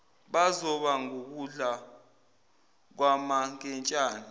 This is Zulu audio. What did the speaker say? bazoba ngukudla kwamankentshane